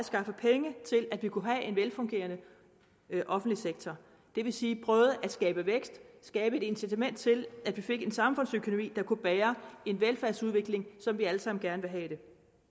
skaffe penge til at vi kunne have en velfungerende offentlig sektor det vil sige prøvede at skabe vækst og skabe et incitament til at vi fik en samfundsøkonomi der kunne bære en velfærdsudvikling som vi alle sammen gerne have det